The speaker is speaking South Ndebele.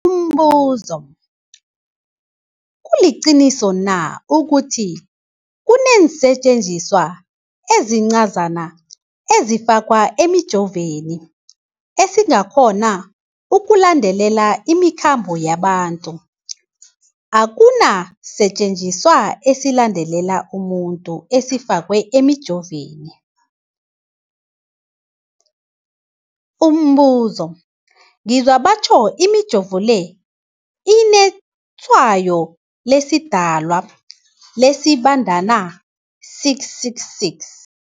Umbuzo, kuliqiniso na ukuthi kunesisetjenziswa esincazana esifakwa emijovweni, esikghona ukulandelela imikhambo yabantu? Akuna sisetjenziswa esilandelela umuntu esifakwe emijoveni. Umbuzo, ngizwa batjho imijovo le inetshayo lesiDalwa, lesiBandana 666.